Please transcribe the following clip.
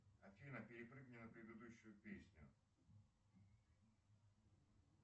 афина перепрыгни на предыдущую песню